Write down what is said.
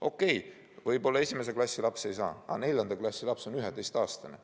Okei, võib-olla esimese klassi laps ei saa, aga neljanda klassi laps on 11-aastane.